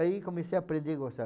Aí comecei a aprender a gostar.